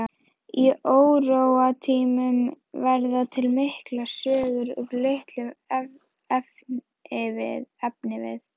Á óróatímum verða til miklar sögur úr litlum efnivið.